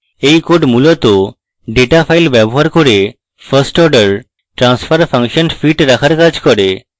এই code মূলত data file ব্যবহার করে first order transfer function fitting রাখার কাজ করে